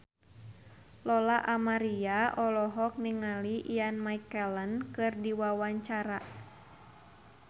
Lola Amaria olohok ningali Ian McKellen keur diwawancara